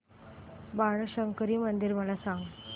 बाणशंकरी मंदिर मला सांग